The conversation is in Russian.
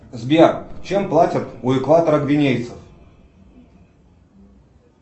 сбер чем платят у экватора гвинейцев